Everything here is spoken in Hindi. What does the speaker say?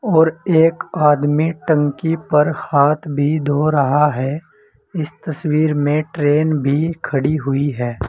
और एक आदमी टंकी पर हाथ भी धो रहा है इस तस्वीर में ट्रेन भी खड़ी हुई है।